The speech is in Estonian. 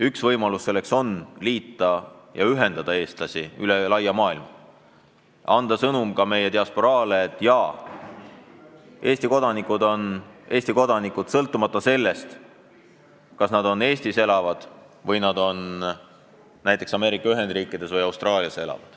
Üks võimalus seda tagada on ühendada eestlasi üle laia maailma, anda meie diasporaale sõnum, et Eesti kodanikud on Eesti kodanikud, sõltumata sellest, kas nad elavad Eestis või näiteks Ameerika Ühendriikides või Austraalias.